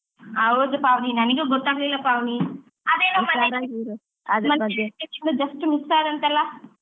ಹೌದು ಪಾವನಿ ನನಿಗೂ ಗೊತಾಗ್ಲಿಲ್ಲಾ ಪಾವನಿ ಅದೇನ್ just miss ಆದಂತಲ?.